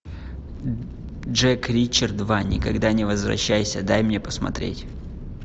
джек ричард два никогда не возвращайся дай мне посмотреть